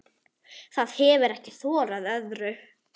Það hefir ekki þorað öðru.